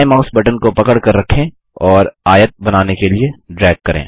बायें mouse button को पकड़कर रखें और आयत बनाने के लिए ड्रैग करें